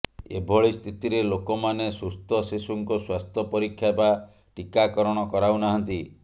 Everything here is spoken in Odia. ଏଭଳିସ୍ଥିତିରେ ଲୋକମାନେ ସୁସ୍ଥ ଶିଶୁଙ୍କ ସ୍ୱାସ୍ଥ୍ୟ ପରୀକ୍ଷା ବା ଟିକାକରଣ କରାଉନାହାନ୍ତି